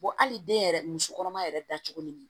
hali den yɛrɛ musokɔnɔma yɛrɛ dacogo ni